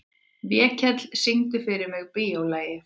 Vékell, syngdu fyrir mig „Bíólagið“.